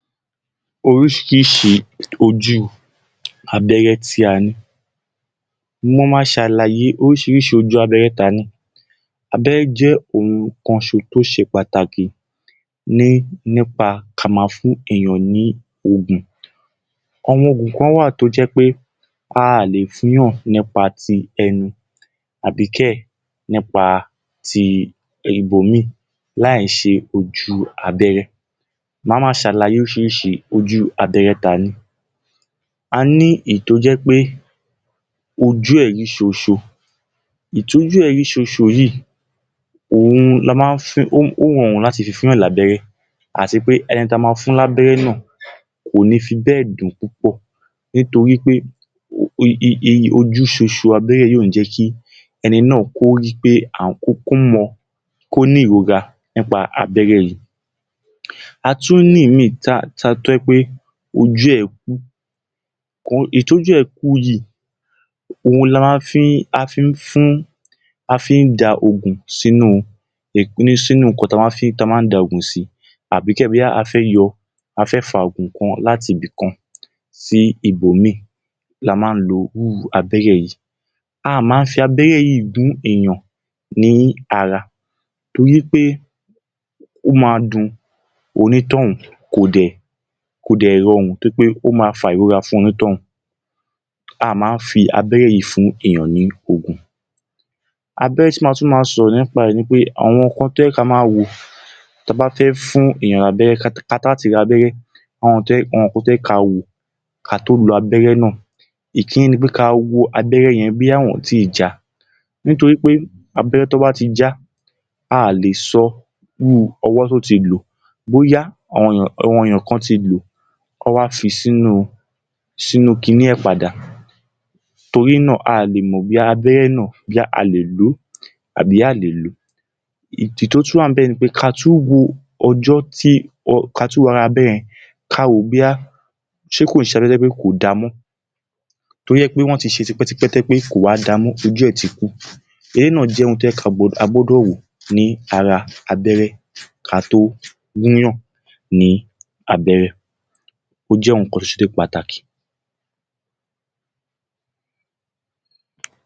Orísiríṣi ojú abérẹ́ tí a ní Mo ma ṣ’àlàyé oríṣiríṣi ojú abẹ́rẹ́ tá a ní. Abẹ́rẹ́ jẹ́ ohun kan tó ṣe pàtàkì nípa ka máa fún èèyàn ní òògùn. Àwọn òògùn kan wà tó jẹ́ pé aà le fúnyàn nípa ti ẹnu àbí kẹ̀ nípa ti ibòmíì, láì ṣe ojú abẹ́rẹ́. Màá máa ṣ’àlàyé l’oríṣiríṣi ojú abẹ́rẹ́ tá a ní. A ní èyí tó jẹ́ pé ojú ẹ̀ rí ṣo-n-ṣo. Èyí t’ójú ẹ̀ rí ṣo-n-ṣo yìí, òun la má ń… ó rọrùn láti fi fúnyàn ní abẹ́rẹ́, àti pé ẹni ta ma fún l’ábéré náà, kò ní fi bẹ́ẹ̀ dùn ún púpọ̀ nítorí pé ehh ojú ṣo-n-ṣo abẹ́rẹ́ yìí kò ní jẹ́ kó rí…kí ẹni náà kó mọ… kó ní ìrora nípa abẹ́rẹ́ yìí. A tún ní ìmiì…tá a…tó jẹ́ pé ojú ẹ̀ kú, èyí tó jẹ́ ojú ẹ̀ kú yìí, òhun la má fí ń…a fi ń fún…a fi ń da ògùn sínú ǹkan ta ma ń da ògùn sí àbí kẹ̀ bóyá a fẹ́ yọ…a fẹ fá ògùn kan láti ibìkan sí ibò míì la má ń lo irú abẹ́rẹ́ yìí. Aà má ń fi abẹ́rẹ́ yìí gún èèyàn ní ara torí pé o máa dun oní tọ̀ún kò dẹ̀ rọrùn, torí pé ó ma fa ìrọra fún onítòún. Aà má n fi abẹ́rẹ́ yìí fun èyàn ní ògùn. Abẹ́rẹ́ tí n ma tún máa sọ̀rọ̀ nípa ẹ̀ ni pé àwọn nǹkan tó yẹ ka ma wò ta bá fẹ́ fún èèyàn l’ábẹ́rẹ́ káṣáti lo abẹ́rẹ́, awọn nǹkan tó yẹ ká wò, ká tó lo abẹ́rẹ́ náà. Ìkínní ni pé ká wo abẹ́rẹ́ yẹn bóyá wọn òn tí ì já a torí abẹ́rẹ́ tán bá ti já, aà lè sọ irú ọwọ́ to ti lò ó bóyá àwọn èèyàn kan ti lò ó, wọ́n wá fi sínú, sínú kiní ẹ̀ padà. Torí náà, aà lè mò bóyá abẹ́rẹ́ náà bóyá à le lò ó tabí à lè lò ó. Èyí tó tún wà níbẹ̀ ni, ká tún wo ọjọ́ tí, ká tún wo ara abẹ́rẹ́ yẹn, ka wò ó bóyá ṣé kò ó ṣ’abéré tó jẹ́ pé kò dáa mọ́, tó jẹ́ pé wọ́n ti ṣé tipẹ́-tipẹ tó jẹ́ pé kò wá dáa mọ́, tó jẹ́ pé ojú ẹ̀ ti kú. Eléyìí náà jẹ́ ohun tó yẹ ká…a gbọ́dọ̀ wò ní ara abẹ́rẹ́ ká tó gúnyán ní abẹ́rẹ́. Ó jẹ́ ohun kan tó ṣe pátákí.